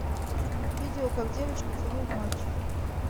видео как девочка целует мальчика